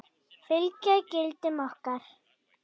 Fylgja gildum okkar.